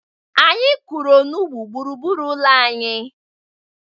Anyị kụrụ onugbu gburugburu ụlọ anyị.